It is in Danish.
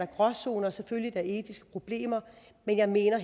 gråzoner og selvfølgelig er der etiske problemer men her mener